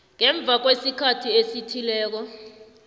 ngemva kwesikhathi esithileko